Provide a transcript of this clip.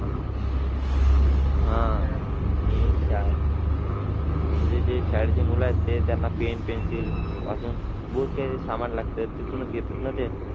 आह आणि म्हणजे जे शाळेचे मुलं आहे ते त्यांना pen pencile अशातून बोह त काही सामान लागते तिथूनच घेतात ना ते.